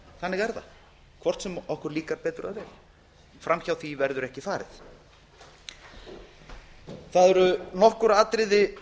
þannig er það hvort sem okkur líkar betur eða verr fram hjá því verður ekki farið það eru nokkur atriði